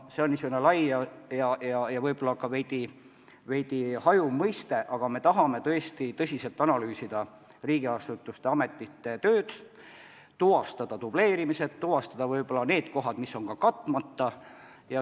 See on niisugune lai ja võib-olla ka veidi hajuv mõiste, aga me tahame tõesti tõsiselt analüüsida riigiasutuste tööd, tuvastada dubleerimised ja tuvastada kohad, mis on katmata.